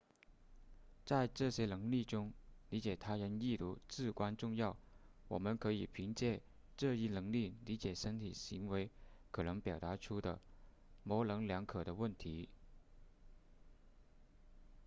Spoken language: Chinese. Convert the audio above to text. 在这些能力中理解他人意图至关重要我们可以凭借这一能力理解身体行为可能表达出的模棱两可的问题